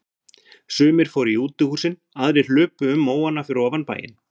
Sumir fóru í útihúsin, aðrir hlupu um móana fyrir ofan bæinn.